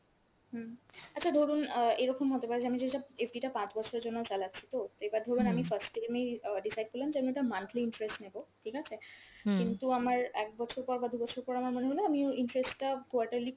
হুম, আচ্ছা ধরুন অ্যাঁ এরকম হতে পারে যে আমি যেটা FD টা পাঁচ বছরের জন্য চালাচ্ছি তো, এইবার ধরুন আমি first অ্যাঁ এই decide যে আমি ওটা monthly interest নেব ঠিক আছে? কিন্তু আমার এক বছর পর বা দু'বছর পর আমার মনে হল আমি ওই interest টা quarterly